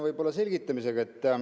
Ma alustan selgitamisega.